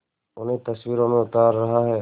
उन्हें तस्वीरों में उतार रहा है